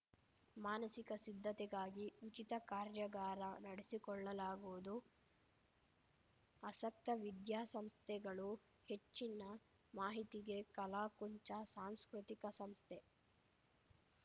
ಮಾನಸಿಕ ಸಿದ್ಧತೆಗಾಗಿ ಉಚಿತ ಕಾರ್ಯಾಗಾರ ನಡೆಸಿಕೊಳ್ಳಲಾಗುವುದು ಆಸಕ್ತ ವಿದ್ಯಾಸಂಸ್ಥೆಗಳು ಹೆಚ್ಚಿನ ಮಾಹಿತಿಗೆ ಕಲಾಕುಂಚ ಸಾಂಸ್ಕೃತಿಕ ಸಂಸ್ಥೆ